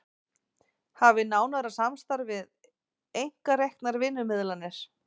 Hafi nánara samstarf við einkareknar vinnumiðlanir